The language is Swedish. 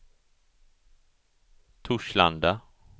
Torslanda